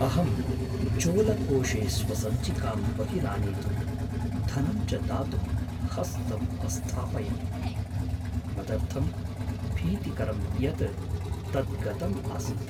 अहं चोलकोषे स्वसञ्चिकां बहिरानेतुं धनं च दातुं हस्तम् अस्थापयन्। मदर्थं भीतिकरं यत् तत् गतम् आसीत्!